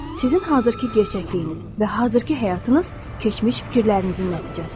Sizin hazırki gerçəkliyiniz və hazırki həyatınız keçmiş fikirlərinizin nəticəsidir.